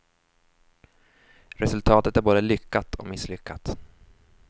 Resultatet är både lyckat och misslyckat.